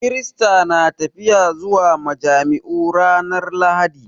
Kirista na tafiya zuwa majami'u ranar Lahadi